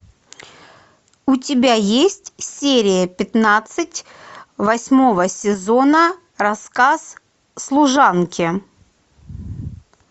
у тебя есть серия пятнадцать восьмого сезона рассказ служанки